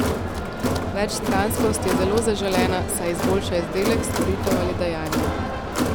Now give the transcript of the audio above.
Večstranskost je zelo zaželena, saj izboljša izdelek, storitev ali dejanje.